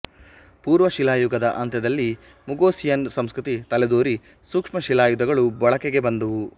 ಪೂರ್ವಶಿಲಾಯುಗದ ಅಂತ್ಯದಲ್ಲಿ ಮುಗೋಸಿಯನ್ ಸಂಸ್ಕೃತಿ ತಲೆದೋರಿ ಸೂಕ್ಷ್ಮ ಶಿಲಾಯುಧಗಳು ಬಳಕೆಗೆ ಬಂದುವು